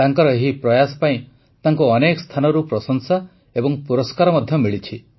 ତାଙ୍କର ଏହି ପ୍ରୟାସ ପାଇଁ ତାଙ୍କୁ ଅନେକ ସ୍ଥାନରୁ ପ୍ରଶଂସା ଏବଂ ପୁରସ୍କାର ମଧ୍ୟ ମିଳିଛି